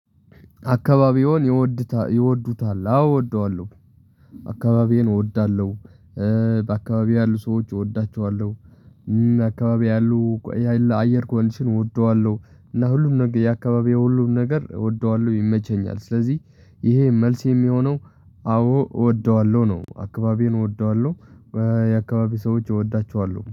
አካባቢዎን ይወዱታ ይወዱታል አዎ እወደዋለሁ አካባቢዬን እወዳለሁ። በአካባቢዬ ያሉ ሰዎች እወዳቸዋለሁ። አካባቢ ያሉ የሀይል አየር ኮንዲሽን እወደዋለሁ እና ሁሉም ነገር የአካባቢዬ ሁሉም ነገር እወደዋለሁ ይመቸኛል ስለዚህ ይሄ መልስ የሚሆነው። አዎ እወደዋለሁ ነው አካባቢዬን እወደዋለሁ። የአካባቢ ሰዎች እወዳቸዋለሁ